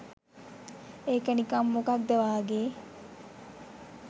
ඒක නිකම් මොකක්ද වාගෙ